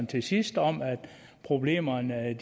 til sidst om at problemerne